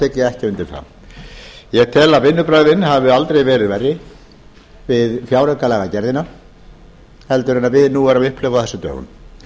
ég ekki undir það ég tel að vinnubrögðin hafi aldrei verið verri við fjáraukalagagerðina en við nú erum að upplifa á þessum dögum